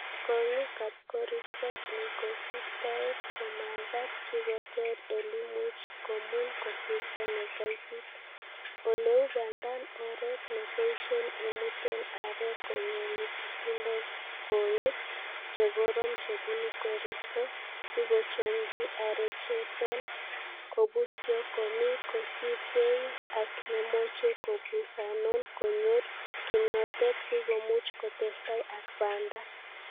Kong'iik ab koristoo en kosiptoet komagaat sikoteer eleimuch komun koristo nekaitit, eleu bandab oret neiboishen imuten aarek konyolu kotindo kong'iik che koroon che bunu koristo sikochomchi arechoton kobusyo komie kosiibge ak nemoche kabusaanon konyor kimnotet sikomuch kotestai ak bandaa.